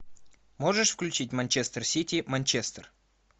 можешь включить манчестер сити манчестер